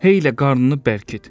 Heylə qarnını bərkit.